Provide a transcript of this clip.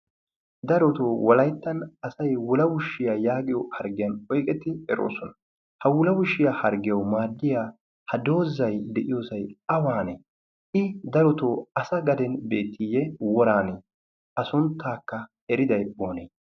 Darotoo walayttan asay wulawushshiyaa yaagiyo harggiyan oyqetti eroosona. Ha wulawishiyaa harggiyau maaddiya ha doozay de'iyoosay awaanee i darotoo asa gaden beetiiyye woranee a sunttaakka eriday poonee?